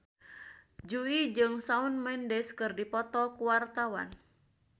Jui jeung Shawn Mendes keur dipoto ku wartawan